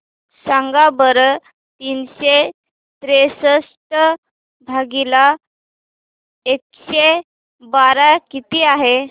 सांगा बरं तीनशे त्रेसष्ट भागीला एकशे बारा किती आहे